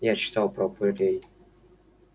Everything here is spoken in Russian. я читала про упырей